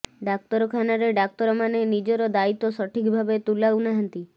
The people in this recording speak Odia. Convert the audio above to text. ଡାକ୍ତରଖାନାରେ ଡାକ୍ତର ମାନେ ନିଜର ଦାୟିତ୍ୱ ସଠିକ ଭାବେ ତୁଲାଉ ନାହାନ୍ତି